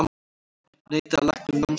Neitaði lækni um námsferð